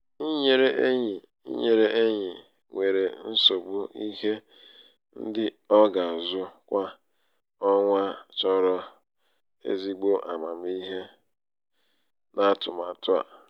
inyere enyi inyere enyi nwere nsogbu ihe um ndị ọ um ga-azụ kwa ọnwa chọrọ ezigbo amamihe um n'atụmatụ a.